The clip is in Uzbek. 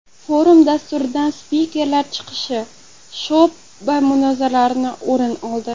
Forum dasturidan spikerlar chiqishi va sho‘’ba munozaralari o‘rin oldi.